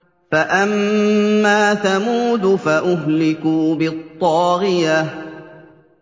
فَأَمَّا ثَمُودُ فَأُهْلِكُوا بِالطَّاغِيَةِ